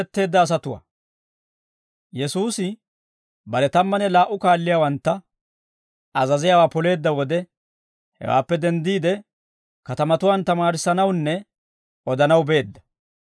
Yesuusi bare tammanne laa"u kaalliyaawantta azaziyaawaa poleedda wode, hewaappe denddiide, katamatuwaan tamaarissanawunne odanaw beedda.